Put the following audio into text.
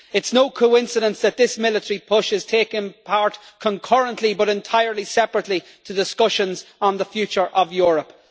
It is no coincidence that this military push is taking place, concurrently but entirely separately, to discussions on the future of Europe.